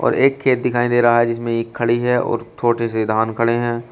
और एक खेत दिखाई दे रहा है जिसमे एक खड़ी है और छोटे से धान खड़े है।